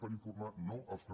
per informar no els que no